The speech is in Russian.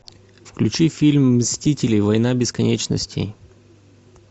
включи фильм мстители война бесконечности